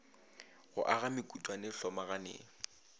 go aga mekutwana e hlomagane